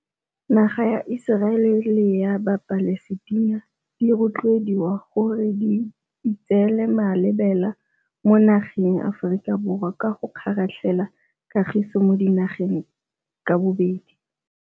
Naga ya Iseraele le ya Palestina di rotloediwa gore di itseele malebela mo nageng ya Aforika Borwa ka go kgaratlhela kagiso mo dinageng ka bobedi.